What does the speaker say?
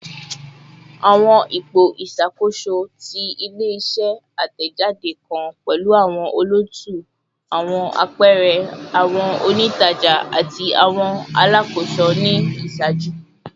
Awọn ipo iṣakoso ti ile-iṣẹ atẹjade kan pẹlu awọn olootu, awọn apẹẹrẹ, awọn onijaja, ati awọn alakoso ni iṣaaju.